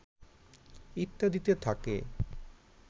ইত্যাদিতে থাকে